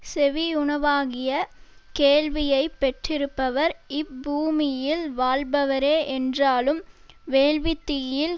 செவி உணவாகிய கேள்வியைப் பெற்றிருப்பவர் இப்பூமியில் வாழ்பவரே என்றாலும் வேள்வித் தீயில்